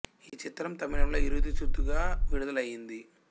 ఈ చిత్రం తమిళంలో ఇరుది సుత్రు గా విడుదల అయింది